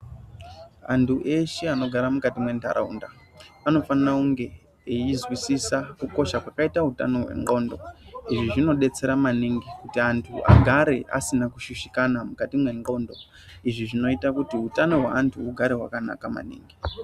Antu eshe anogara mukati mwentaraunda anofanira kunge eizwisisa kukosha kwakaite utano hwendxondo izvi zvinodetsera maniningi kuti antu agare asina kushushikana mukati mwendxondo, izvi zvinoita kuti utano hweantu hugare hwakanaka.